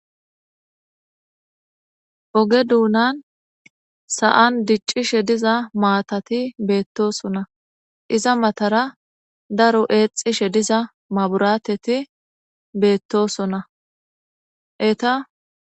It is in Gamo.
Ooge duunnan sa'an dicishe diza matatti bettosonna iza matara daro exishe diza maburatetti beettosonna eetta